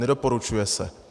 Nedoporučuje se.